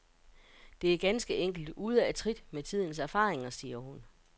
Det er ganske enkelt ude af trit med tidens erfaringer, siger hun.